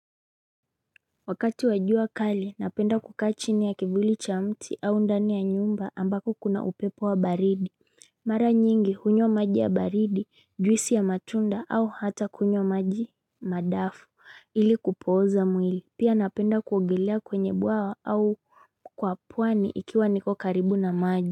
Wakati wa jua kali napenda kukaa chini ya kivuli cha mti au ndani ya nyumba ambapo kuna upepo wa baridi Mara nyingi hunywa maji ya baridi juisi ya matunda au hata kunywa maji madafu ili kupoza mwili pia napenda kuogelea kwenye bwawa au kwapwani ikiwa niko karibu na maji.